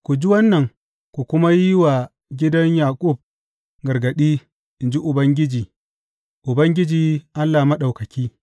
Ku ji wannan ku kuma yi wa gidan Yaƙub gargaɗi, in ji Ubangiji, Ubangiji Allah Maɗaukaki.